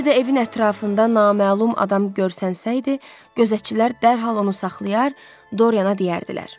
Bir də evin ətrafında naməlum adam görsənsəydi, gözətçilər dərhal onu saxlayar, Doriana deyərdilər.